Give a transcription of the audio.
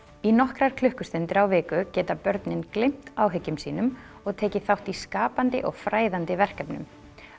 í nokkrar klukkustundir á viku geta börnin gleymt áhyggjum sínum og tekið þátt í skapandi og fræðandi verkefnum